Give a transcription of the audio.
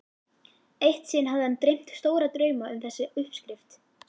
Eitt sinn hafði hann dreymt stóra drauma um þessa uppskrift.